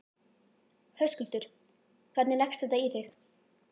Höskuldur: Hvernig leggst þetta í þig?